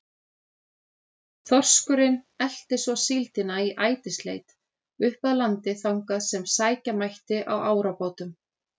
Þorskurinn elti svo síldina í ætisleit upp að landi þangað sem sækja mætti á árabátum.